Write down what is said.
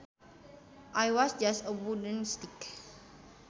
It was just a wooden stick